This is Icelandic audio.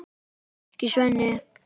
Ekki, Sveinn.